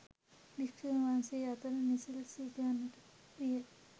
භික්ෂූන් වහන්සේ අතර නිසි ලෙස සිදුවන්නට විය.